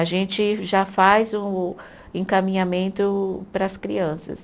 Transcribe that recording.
A gente já faz o encaminhamento para as crianças.